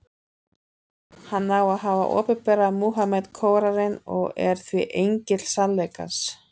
Hann á að hafa opinberað Múhameð Kóraninn, og er því engill sannleikans.